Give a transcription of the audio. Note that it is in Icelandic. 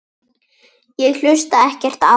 Ég hlusta ekkert á hann.